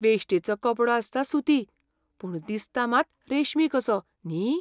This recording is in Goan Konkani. वेश्टेचो कपडो आसता सुती, पूण दिसता मात रेशमी कसो, न्ही?